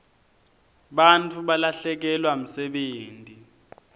bantfu balahlekelwa msebenti